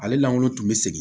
Ale langolo tun bɛ segin